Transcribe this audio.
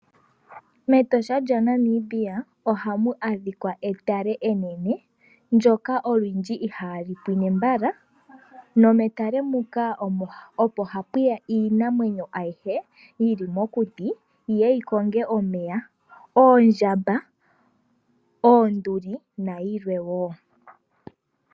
MEtosha lyaNamibia ohamu adhika etale enene, ndyoka olundji ihaali pwine mbala nometale muka opo hapu ya iinamwenyo ayihe yi li mokuti yi ye yi konge omeya, oondjamba, oonduli nayilwe wo.